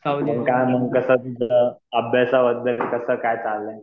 कसा तुमचा अभ्यासाबद्दल कसा काय चालू आहे?